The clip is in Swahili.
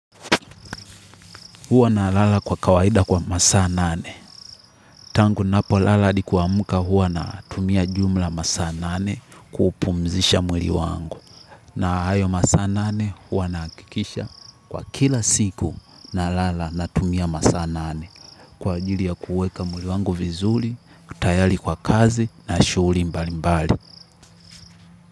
Huwa na lala kwa kawaida kwa masaa nane. Tangu napo lala hadi kuamka huwa na tumia jumla masaa nane kupumzisha mwili wangu. Na hayo masaa nane huwa nahakikisha kwa kila siku na lala na tumia masaa nane kwa ajili ya kuweka mwili wangu vizuri, kutayari kwa kazi na shughuli mbali mbali.